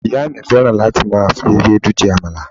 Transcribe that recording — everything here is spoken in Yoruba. ìyá mi fẹràn láti ma fi Ewédú jẹ àmàlà